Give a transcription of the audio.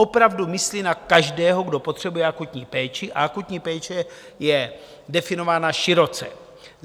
Opravdu myslí na každého, kdo potřebuje akutní péči, a akutní péče je definována široce.